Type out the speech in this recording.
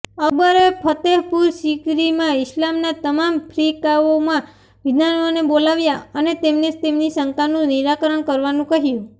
અકબરે ફ્તેહપુર સીકરીમાં ઈસ્લામના તમામ ફ્રિકાઓના વિદ્વાનોને બોલાવ્યા અને તેમને તેમની શંકાનું નિરાકરણ કરવાનું કહ્યું